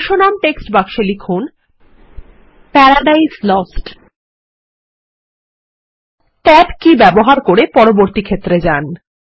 শীর্ষনাম text বাক্সে লিখুন Paradise Lost এবং ট্যাব কী ব্যবহার করে পরবর্তী ক্ষেত্রে যান